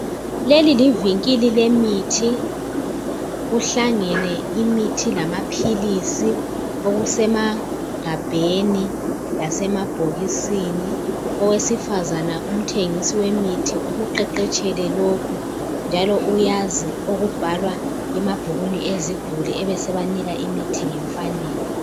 Leli livinkili lemithi Kuhlangene imithi lamaphilisi okusemagabheni lasemabhokisini. Owesifazana umthengisi wemithi ukuqeqeshele lokhu njalo uyazi okubhalwa emabhukwini eziguli ebesebanika imithi ngenfanelo.